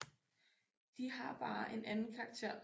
De har bare en anden karakter